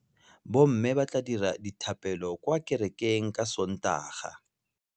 Bommê ba tla dira dithapêlô kwa kerekeng ka Sontaga.